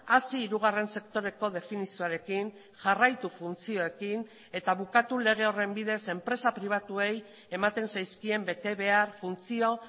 hasi hirugarren sektoreko definizioarekin jarraitu funtzioekin eta bukatu lege horren bidez enpresa pribatuei ematen zaizkien betebehar funtzio